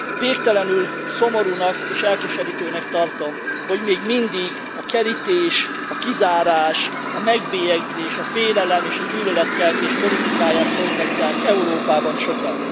Végtelenül szomorúnak és elkeserítőnek tartom, hogy még mindig a kerítés, a kizárás, a megbélyegzés, a félelem és a gyűlöletkeltés politikáját folytatják Európában sokan.